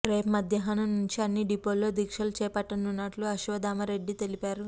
రేపు మధ్యాహ్నం నుంచి అన్ని డిపోల్లో దీక్షలు చేపట్టనున్నట్టు అశ్వత్ధామ రెడ్డి తెలిపారు